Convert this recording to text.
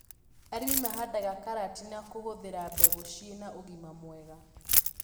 Arĩmi mahandaga karati na kũhũthĩra mbegũ ciĩna ũgima mwega